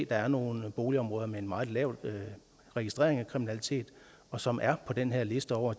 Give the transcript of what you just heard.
der er nogle boligområder med meget lav registrering af kriminalitet og som er på den her liste over